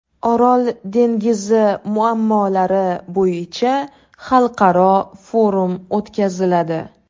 Orol dengizi muammolari bo‘yicha Xalqaro forum o‘tkaziladi.